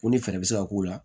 Ko ni fɛɛrɛ bɛ se ka k'u la